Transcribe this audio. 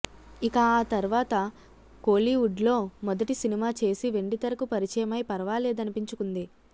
ఇక ఆతర్వాత కోలీవుడ్లో మొదటి సినిమా చేసి వెండితెరకు పరిచయమై పర్వాలేదనిపించుకుంది